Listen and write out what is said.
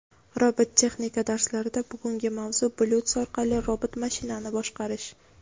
Robototexnika darslarida bugungi mavzu: Bluetooth orqali robot mashinani boshqarish.